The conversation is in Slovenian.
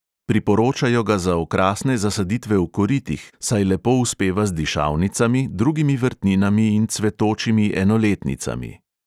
Priporočajo ga za okrasne zasaditve v koritih, saj lepo uspeva z dišavnicami, drugimi vrtninami in cvetočimi enoletnicami.